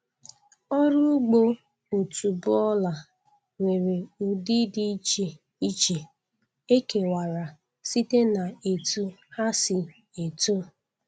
oru ugbo otuboala nwere ụdị dị iche iche e kewara site n'etu ha si eto